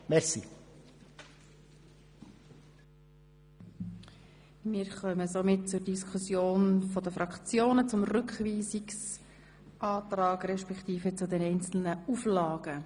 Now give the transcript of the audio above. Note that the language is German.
Damit kommen wir zur Diskussion der Fraktionen über den Rückweisungsantrag respektive über die einzelnen Auflagen.